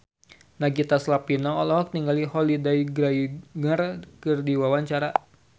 Nagita Slavina olohok ningali Holliday Grainger keur diwawancara